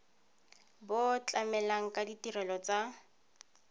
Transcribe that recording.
bo tlamelang ka ditirelo tsa